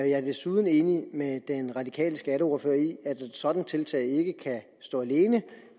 jeg er desuden enig med den radikale skatteordfører i at et sådant tiltag ikke kan stå alene